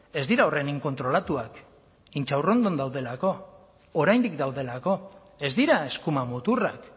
ez dira horren inkontrolatuak intxaurrondon daudelako oraindik daudelako ez dira eskuma muturrak